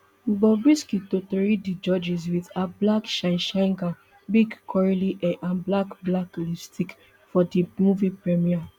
bobrisky totori di judges wit her black shineshine gown big curly hair and black black lipstick for di movie premiere